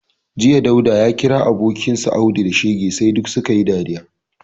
Jiya, Dauda ya kira abokinsa Audu da shege sai duk su ka yi dariya